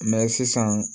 sisan